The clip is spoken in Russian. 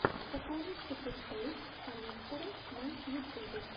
покажи супер тойс коллектора на ютюбе